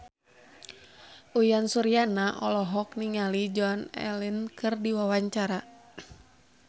Uyan Suryana olohok ningali Joan Allen keur diwawancara